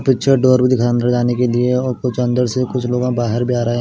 picture door भी दिख रहा अंदर जाने के लिए और कुछ अंदर से कुछ लोग बाहर भी आ रहे--